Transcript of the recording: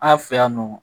An fɛ yan nɔ